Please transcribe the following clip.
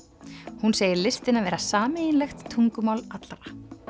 hún segir listina vera sameiginlegt tungumál allra